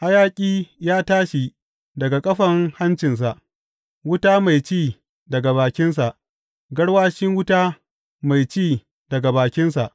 Hayaƙi ya tashi daga kafan hancinsa; wuta mai ci daga bakinsa, garwashi wuta mai ci daga bakinsa.